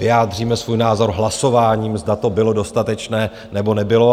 Vyjádříme svůj názor hlasováním, zda to bylo dostatečné, nebo nebylo.